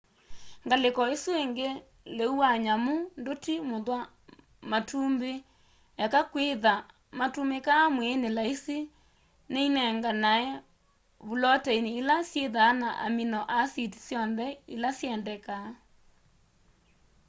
ngaliko isu ingi leũ wa nyamu nduti muthwa matumbi eka kwitha matumikaa mwiini laisi ni inenganae vuloteini ila syithaa na amino asiti syonthe ila syendekaa